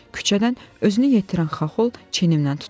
Küçədən özünü yetirən Xaxol çiynimdən tutdu.